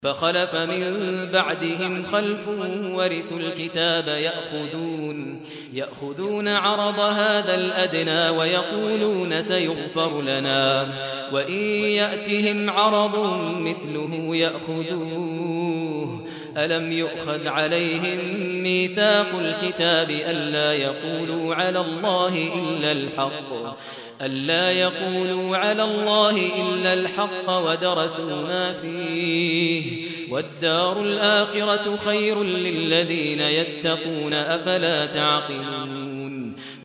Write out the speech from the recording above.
فَخَلَفَ مِن بَعْدِهِمْ خَلْفٌ وَرِثُوا الْكِتَابَ يَأْخُذُونَ عَرَضَ هَٰذَا الْأَدْنَىٰ وَيَقُولُونَ سَيُغْفَرُ لَنَا وَإِن يَأْتِهِمْ عَرَضٌ مِّثْلُهُ يَأْخُذُوهُ ۚ أَلَمْ يُؤْخَذْ عَلَيْهِم مِّيثَاقُ الْكِتَابِ أَن لَّا يَقُولُوا عَلَى اللَّهِ إِلَّا الْحَقَّ وَدَرَسُوا مَا فِيهِ ۗ وَالدَّارُ الْآخِرَةُ خَيْرٌ لِّلَّذِينَ يَتَّقُونَ ۗ أَفَلَا تَعْقِلُونَ